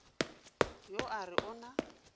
yo a re o na